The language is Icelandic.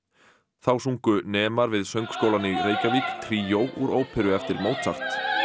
þá sungu nemar við söngskólann í Reykjavík tríó úr óperu eftir Mozart